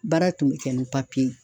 Baara tun be kɛ ni papiye ye